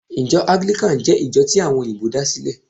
Ijo Anglican jé ìjo tí àwon òyìbó da sílè